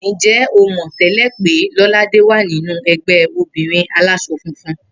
Ǹjé̩ o mò̩ té̩lè̩ pé Ló̩ládè wà nínú e̩gbé̩ obìnrin alás̩o̩ funfun?